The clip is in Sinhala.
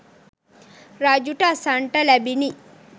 රජුට අසන්නට ලැබිණි.